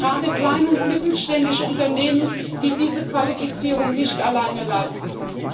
Das brauchen gerade kleine und mittelständische Unternehmen, die diese Qualifizierung nicht alleine leisten können.